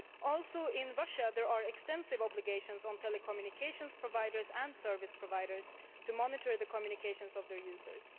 Also in Russia there are extensive obligations on telecommunications providers and service providers to monitor the communications of their users.